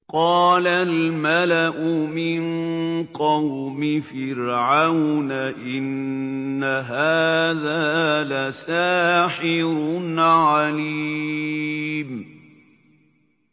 قَالَ الْمَلَأُ مِن قَوْمِ فِرْعَوْنَ إِنَّ هَٰذَا لَسَاحِرٌ عَلِيمٌ